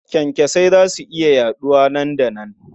Kyankyasai za su iya yaɗuwa nan da nan.